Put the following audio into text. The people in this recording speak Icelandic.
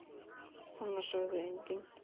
Svona sagði enginn.